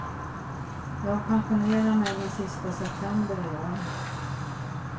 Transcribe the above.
Jag pensionerar mig den sista september i år.